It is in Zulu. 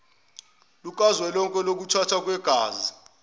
lukazwelonke lokuthathwa kwegazi